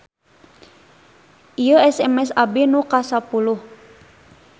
Ieu SMS abdi nu kasapuluh